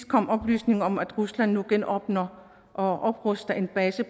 kommet oplysninger om at rusland nu genåbner og opruster en base